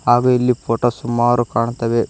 ಹಾಗು ಇಲ್ಲಿ ಫೋಟೋ ಸುಮಾರು ಕಾಣ್ತವೆ.